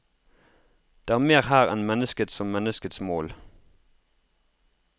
Det er mer her enn mennesket som menneskets mål.